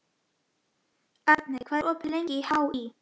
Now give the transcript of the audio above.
Arney, hvað er opið lengi í HÍ?